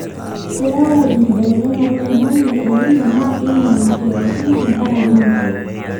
keyau enkibelekenyata oloingange elnino naa keinyal siatin tenkaraki meguar